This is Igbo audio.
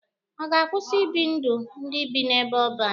Ọ ga-akwụsị ibi ndụ ndị bi n'ebe ọban?